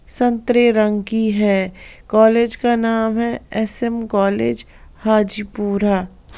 संतरे रंग की है कॉलेज का नाम है एसएम कॉलेज हाजीपुरा।